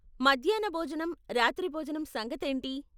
మధ్యాన్న భోజనం, రాత్రి భోజనం సంగతేంటి?